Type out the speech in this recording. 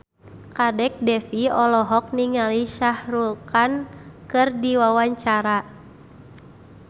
Kadek Devi olohok ningali Shah Rukh Khan keur diwawancara